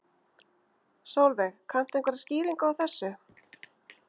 Sólveig: Kanntu einhverja skýringu á þessu?